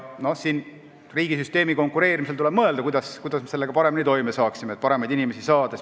Riigisüsteemi konkureerimise korraldamisel tuleb mõelda, kuidas me sellega paremini toime tuleksime, et paremaid inimesi saada.